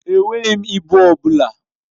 Enweghị m ịbụ ọ bụla.